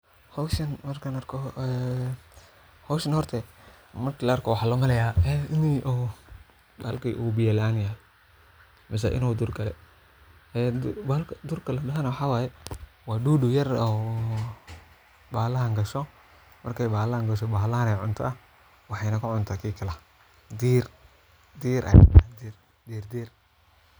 Howshan markaan arko waxaa loo maleeya inuu biya laan yaho mise inuu duur gale waa dudu yar oo bahshan gasho waxeeyna kacuntaa diir.